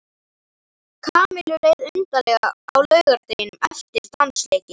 Kamillu leið undarlega á laugardeginum eftir dansleikinn.